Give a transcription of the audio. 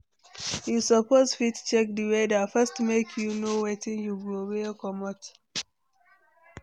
You suppose fit check di weather first make you know wetin you go wear comot.